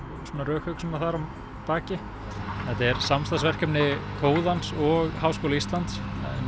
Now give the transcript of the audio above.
og rökhugsun þar að baki en þetta er samstarfsverkefni kóðans og Háskóla Íslands